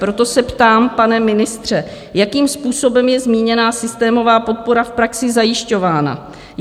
Proto se ptám, pane ministře, jakým způsobem je zmíněná systémová podpora v praxi zajišťována?